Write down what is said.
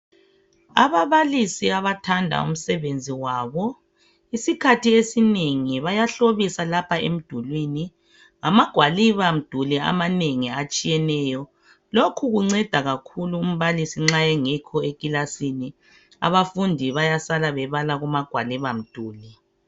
Ababalisi abathanda umsebenzi wabo isikhathi esinengi bayahlobisa lapha emdulwini ngamagwalibamduli amanengi atshiyeneyo. Lokhu kunceda kakhulu umbalisi nxa engekho ekilasini abafundi bayasala bebala kumagwalibamduli.